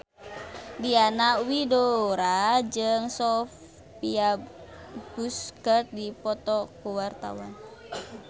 Diana Widoera jeung Sophia Bush keur dipoto ku wartawan